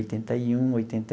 Oitenta e um oitenta.